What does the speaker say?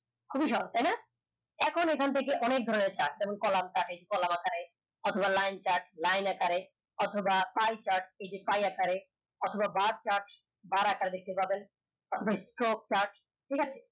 খুবি সহজ তাই না এখন ওখান থেকে অনেক ধরনের অথবা লাইন তার লাইন আকারে অথবা chart এই যে পাই আকারে অথবা bus chart bar আকারে দেখতে পাবেন অথবা stock chart ঠিক আছে